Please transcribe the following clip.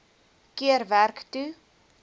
keer werk toe